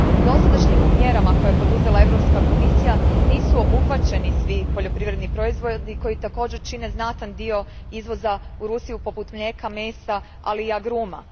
Dosadašnjim mjerama koje je poduzela Europska komisija nisu obuhvaćeni svi poljoprivredni proizvodi koji također čine znatan dio izvoza u Rusiju poput mlijeka, mesa ali i agruma.